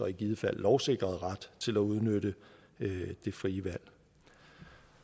i givet fald lovsikrede ret til at udnytte det frie valg